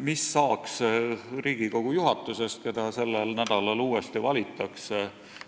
Mis saaks Riigikogu juhatusest, mida sellel nädalal uuesti valitakse,